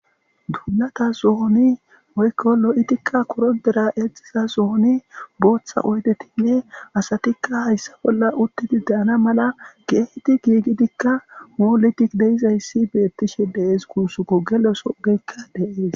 tuulata zohoni woykko lo7itikka korodera exiza zohoni booththa oydetinne asatikka hayssa bolla uttidi deana mala geeti giigidikka mooledik deizayssi beettishe deees kuusuko geloso geykka deees